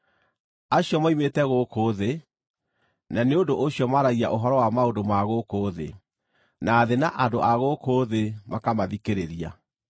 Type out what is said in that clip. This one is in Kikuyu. Acio moimĩte gũkũ thĩ, na nĩ ũndũ ũcio maaragia ũhoro wa maũndũ ma gũkũ thĩ, na thĩ na andũ a gũkũ thĩ makamathikĩrĩria.